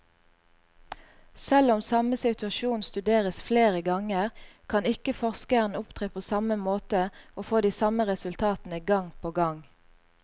Selv om samme situasjon studeres flere ganger, kan ikke forskeren opptre på samme måte og få de samme resultatene gang på gang.